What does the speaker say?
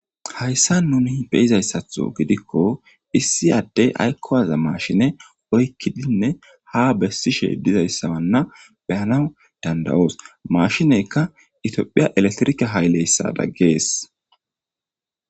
Hayisani nuni beyizayisatho gidikko aayikko waza mashine oyikkidinne haa beesishe deizayisa beanawu danidaosi mashinezikka tophphiya elekitrike hayileyisada gesi